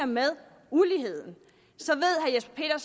med uligheden